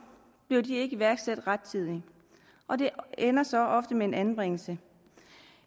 ikke iværksat rettidigt og det ender så ofte med en anbringelse